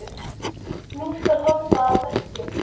Nú skal horft á verkin.